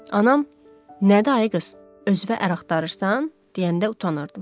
Anam "Nədir ay qız, özünə ər axtarırsan?" deyəndə utanırdım.